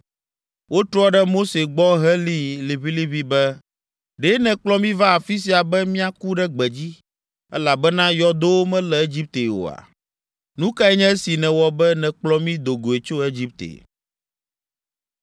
Wotrɔ ɖe Mose gbɔ helĩ liʋĩliʋĩ be, “Ɖe nèkplɔ mí va afi sia be míaku ɖe gbedzi, elabena yɔdowo mele Egipte oa? Nu kae nye esi nèwɔ be nèkplɔ mí do goe tso Egipte?